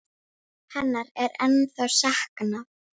Hennar er ennþá saknað.